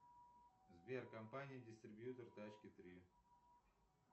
сбер компания дистрибьютор тачки три